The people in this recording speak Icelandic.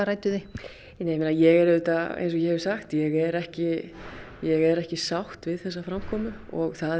rædduð þið ég er auðvitað eins og ég hef sagt ég er ekki ég er ekki sátt við þessa framkomu og það